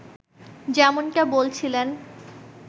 যেমনটা বলছিলেন